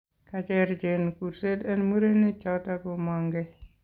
Kaicher Jane kurset en murenik choton komang'ngee